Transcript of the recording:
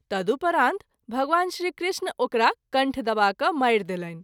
तदुपरांत भगवान श्री कृष्ण ओकरा कण्ठ दबा कय मारि देलनि।